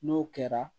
N'o kɛra